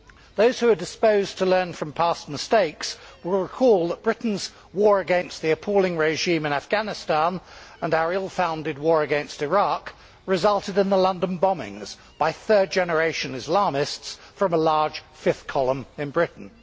Those who are disposed to learn from past mistakes will recall that Britain's war against the appalling regime in Afghanistan, and our ill founded war against Iraq, resulted in the London bombings by third generation Islamists from a large fifth column in Britain.